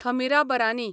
Thamirabarani